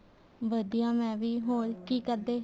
ਵਧੀਆ ਮੈਂ ਵੀ ਹੋਰ ਕੀ ਕਰਦੇ